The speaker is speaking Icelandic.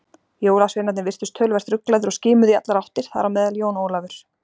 Jólasveinarnir virtust töluvert ruglaðir og skimuðu í allar áttir, þar á meðal Jón Ólafur.